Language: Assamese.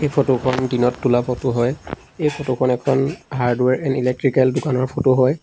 ফটো খন দিনত তোলা ফটো হয় এই ফটো খন এখন হাৰ্ডৱেৰ এন ইলেকট্ৰিকেল দোকানৰ ফটো হয়।